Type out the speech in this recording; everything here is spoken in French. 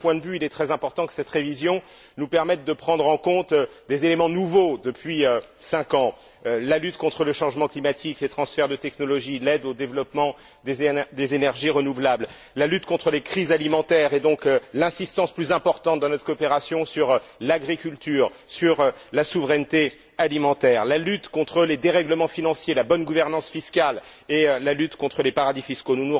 De ce point de vue, il est très important que cette révision nous permette de prendre en compte des éléments nouveaux depuis cinq ans la lutte contre le changement climatique, les transferts de technologies, l'aide au développement des énergies renouvelables, la lutte contre les crises alimentaires, et donc une insistance plus importante, dans notre coopération, sur l'agriculture, sur la souveraineté alimentaire, la lutte contre les dérèglements financiers, la bonne gouvernance fiscale et la lutte contre les paradis fiscaux.